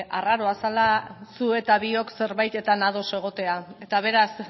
arraroa zela zuk eta biok zerbaitetan ados egotea eta beraz